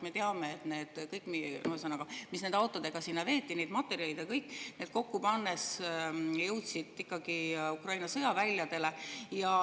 Me teame, et need materjalid ja kõik, mis nende autodega sinna veeti, kokku pannes jõudsid ikkagi Ukraina sõjaväljadele.